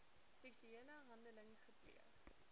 seksuele handeling gepleeg